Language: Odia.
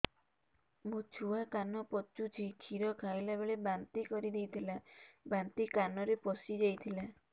ମୋ ଛୁଆ କାନ ପଚୁଛି କ୍ଷୀର ଖାଇଲାବେଳେ ବାନ୍ତି କରି ଦେଇଥିଲା ବାନ୍ତି କାନରେ ପଶିଯାଇ ଥିଲା